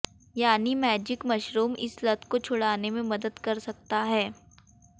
यानी magic mushroom इस लत को छुड़ाने में मदद कर सकता है